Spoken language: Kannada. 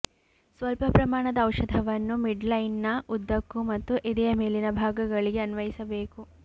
ಸ್ವಲ್ಪ ಪ್ರಮಾಣದ ಔಷಧವನ್ನು ಮಿಡ್ಲೈನ್ನ ಉದ್ದಕ್ಕೂ ಮತ್ತು ಎದೆಯ ಮೇಲಿನ ಭಾಗಗಳಿಗೆ ಅನ್ವಯಿಸಬೇಕು